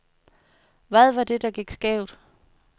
Hvad var det, der gik skævt?